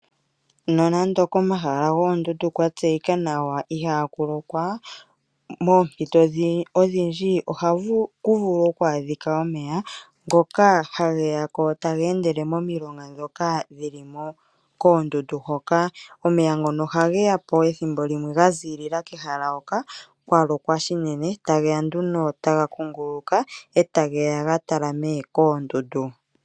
Nonando komahala goondundu kwa tseyika nawa ihaa kulokwa , moompito odhindji ohaku vulu okwadhikwa omeya ngoka hageyako taga endele momilonga moka .omeya ohage yapo ethimbo limwe gaziilila kehala hoka kwalokwa shinene , etageya nduno taga kunguluka sigo geya okutalama koondundu.